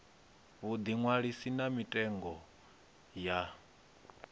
vhuḓi ṅwalisi na mitengo ya